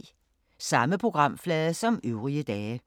Samme programflade som øvrige dage